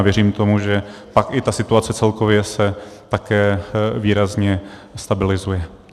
A věřím tomu, že pak i ta situace celkově se také výrazně stabilizuje.